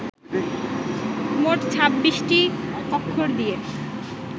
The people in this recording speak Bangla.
মোট ছাব্বিশটি অক্ষর দিয়ে